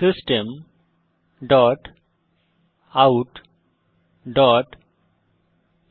system dot out dot